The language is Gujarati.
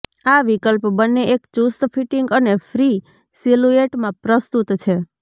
આ વિકલ્પ બંને એક ચુસ્ત ફિટિંગ અને ફ્રી સિલુએટમાં પ્રસ્તુત છે